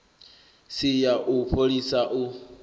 si ya u fholisa u